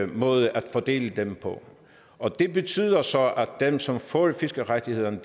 ny måde at fordele dem på og det betyder så at dem som får fiskerettighederne